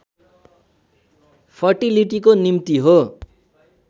फर्टिलिटीको निम्ति हो